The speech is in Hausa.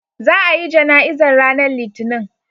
Za a yi jana'izar ranar Litinin.